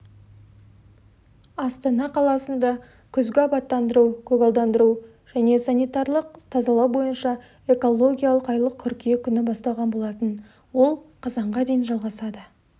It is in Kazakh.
астана қаласында күзгі абаттандыру көгалдандыру және санитарлық тазалау бойынша экологиялық айлық қыркүйек күні басталған болатын ол қазанға дейін жалғасады